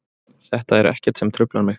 Þetta er ekkert sem truflar mig.